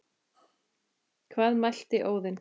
Hvað mælti Óðinn